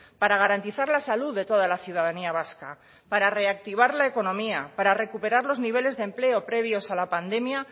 para garantizar la salud de toda la ciudadanía vasca para reactivar la economía para recuperar los niveles previos a la pandemia